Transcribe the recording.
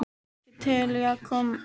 Eruð þið ekki til í að koma uppúr?